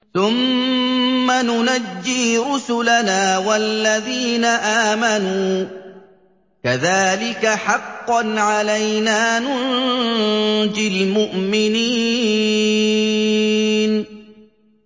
ثُمَّ نُنَجِّي رُسُلَنَا وَالَّذِينَ آمَنُوا ۚ كَذَٰلِكَ حَقًّا عَلَيْنَا نُنجِ الْمُؤْمِنِينَ